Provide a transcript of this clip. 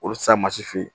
Olu sa mansin